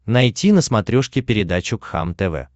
найти на смотрешке передачу кхлм тв